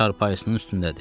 Çarpayısının üstündədir.